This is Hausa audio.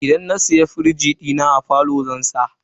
Idan na siya firij dina, a falo zan ajiye.